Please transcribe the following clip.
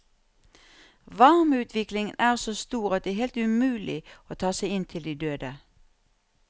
Varmeutviklingen er så stor at det er helt umulig å ta seg inn til de døde.